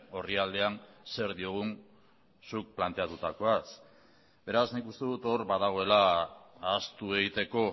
orrialdean zer diogun zuk planteatutakoaz beraz nik uste dut hor badagoela ahaztu egiteko